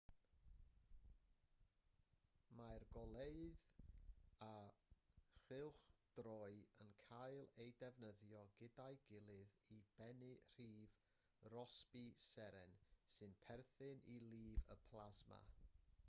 mae'r goleuedd a chylchdroi yn cael eu defnyddio gyda'i gilydd i bennu rhif rossby seren sy'n perthyn i lif y plasma